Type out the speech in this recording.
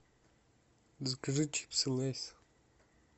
закажи чипсы лейс